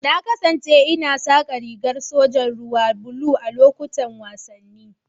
Na kasance ina saka rigar sojan ruwa blue a lokutan wasanni.